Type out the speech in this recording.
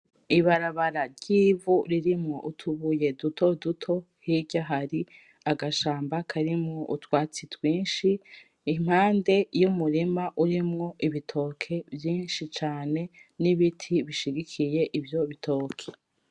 Ibarabara ry'ivu ririmwo utubuye dutoto, hirya hari agashamba karimwo utwatsi twinshi impande y'umurima urimwo ibitoke vyinshi cane n'ibiti bishigikiye ivyo bitoki.